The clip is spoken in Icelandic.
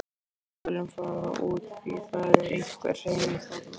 Við skulum fara út því það er einhver hreyfing þarna.